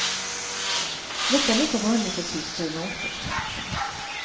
Nästan lika vanligt är tvister i motorbranschen.